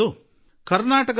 ಕರ್ನಾಟಕದ ಕೊಪ್ಪಳ ಜಿಲ್ಲೆ